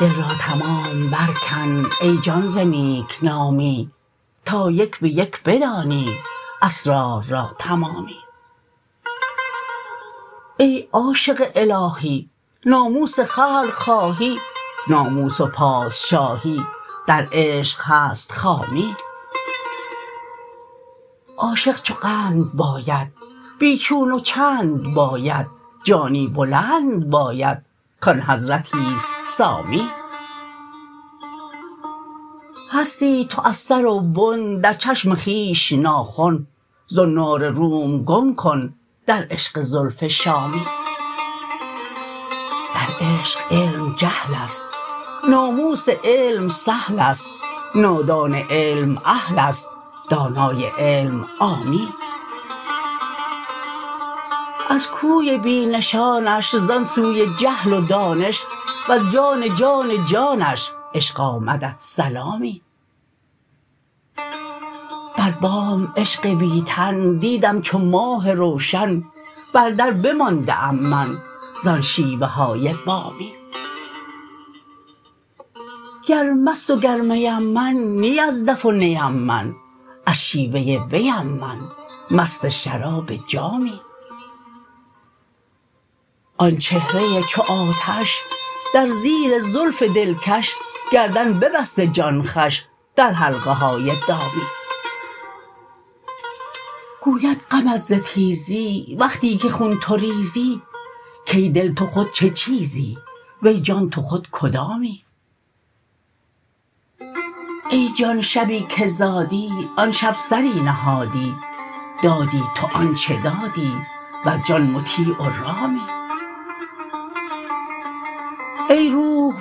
دل را تمام برکن ای جان ز نیک نامی تا یک به یک بدانی اسرار را تمامی ای عاشق الهی ناموس خلق خواهی ناموس و پادشاهی در عشق هست خامی عاشق چو قند باید بی چون و چند باید جانی بلند باید کان حضرتی است سامی هستی تو از سر و بن در چشم خویش ناخن زنار روم گم کن در عشق زلف شامی در عشق علم جهل است ناموس علم سهل است نادان علم اهل است دانای علم عامی از کوی بی نشانش زان سوی جهل و دانش وز جان جان جانش عشق آمدت سلامی بر بام عشق بی تن دیدم چو ماه روشن بر در بمانده ام من زان شیوه های بامی گر مست و گر میم من نی از دف و نیم من از شیوه ویم من مست شراب جامی آن چهره ی چو آتش در زیر زلف دلکش گردن ببسته جان خوش در حلقه های دامی گوید غمت ز تیزی وقتی که خون تو ریزی کای دل تو خود چه چیزی وی جان تو خود کدامی ای جان شبی که زادی آن شب سری نهادی دادی تو آنچ دادی وز جان مطیع و رامی ای روح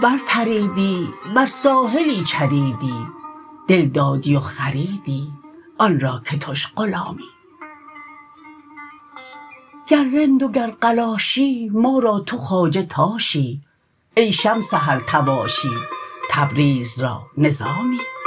برپریدی بر ساحلی چریدی دل دادی و خریدی آن را که تش غلامی گر رند و گر قلاشی ما را تو خواجه تاشی ای شمس هر طواشی تبریز را نظامی